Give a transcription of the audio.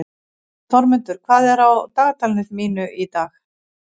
Þormundur, hvað er á dagatalinu mínu í dag?